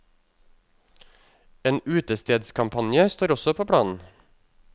En utestedskampanje står også på planen.